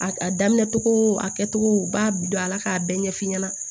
A a daminɛ cogo a kɛcogo u b'a bi don a la k'a bɛɛ ɲɛf'i ɲɛna